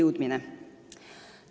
Teiseks.